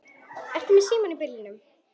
Ertu með síma í bílnum?